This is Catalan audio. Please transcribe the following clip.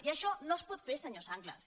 i això no es pot fer senyor sanglas